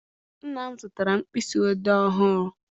Nna m zụtara m mkpịsị odee ọhụụ.